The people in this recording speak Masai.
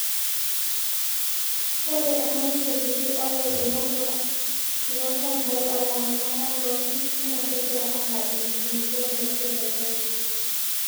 ore emanyisho kiti oolairemok loolchampai olaramata loo nkishu naa kegira aalau enkulupuoni naisho te kenya